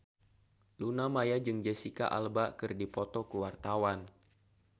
Luna Maya jeung Jesicca Alba keur dipoto ku wartawan